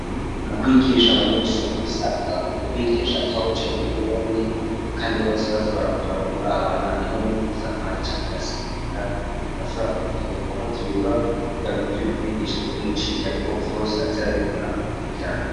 Mu kwigisha abanyeshuri bisabwa ko ubigisha atawicaye nyuma y'uwundi ,kandi bose baza barakuraba murabana, niho n'uwusamaye canke agasinzira urashobora kumukebura ukamuvyura kugirango ivyo urik'urigisha ntibimucika, ariko vyose aze arabibona uko bikurikirana.